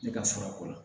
Ne ka sɔrɔ ko la